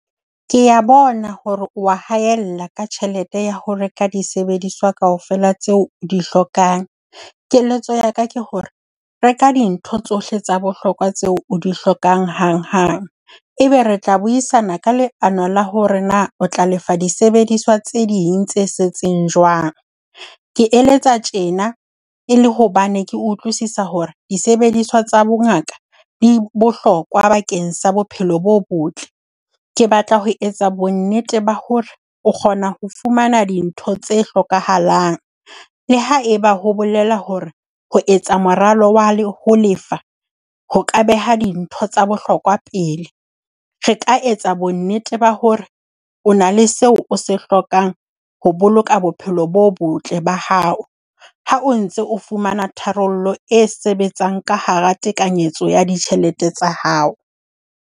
Kea bona hore o wa haella ka tjhelete ya ho reka disebediswa kaofela tseo o di hlokang. Keletso ya ka ke hore, reka dintho tsohle tsa bohlokwa tseo o di hlokang hanghang. Ebe re tla buisana ka leano la hore na o tla lefa disebediswa tse ding tse setseng jwang. Ke eletsa tjena e le hobane ke utlwisisa hore disebediswa tsa bongaka di bohlokwa bakeng sa bophelo bo botle. Ke batla ho etsa bonnete ba hore o kgona ho fumana dintho tse hlokahalang le haeba ho bolela hore ho etsa moralo wa ho lefa ho ka beha dintho tsa bohlokwa pele. Re ka etsa bonnete ba hore o na le seo o se hlokang ho boloka bophelo bo botle ba hao, ha o ntse o fumana tharollo e sebetsang ka hara tekanyetso ya ditjhelete tsa hao.